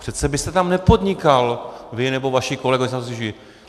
Přece byste tam nepodnikal, vy nebo vaši kolegové.